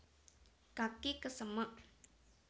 kaki kesemek